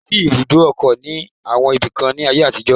Kò sí ibùdó ọkọ̀ ní àwọn ibi kan ní nàìjíría tẹ́lẹ̀